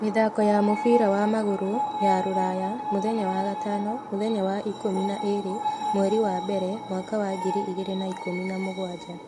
Mĩthako ya mũbira wa magũrũ ya Rũraya, mũthenya wa gatano mũthenya wa ikũmi na ĩĩrĩ mweri wa mbere mwaka wa ngiri igĩrĩ na ikũmi na mũgwanja